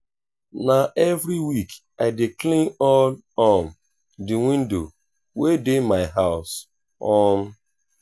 na every week i dey clean all um di window wey dey my house. um